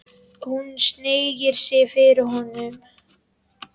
Hún hneigir sig fyrir honum.